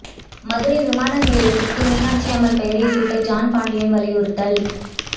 மதுரை விமான நிலையத்துக்கு மீனாட்சியம்மன் பெயரைச் சூட்ட ஜான் பாண்டியன் வலியுறுத்தல்